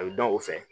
A bɛ dɔn o fɛ